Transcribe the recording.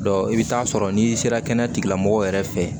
i bɛ taa sɔrɔ n'i sera kɛnɛya tigilamɔgɔw yɛrɛ fɛ